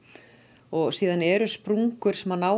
og síðan eru sprungur sem að ná